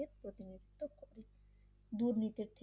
দুর্নীতির থেকে